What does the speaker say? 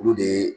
Olu de